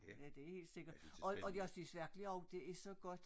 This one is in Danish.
Ja det helt sikkert og jeg synes virkelig også det er så godt